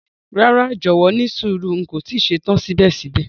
Rara, jọwọ nísùúrù, n ko ti ṣetan sibẹ̀sibẹ̀.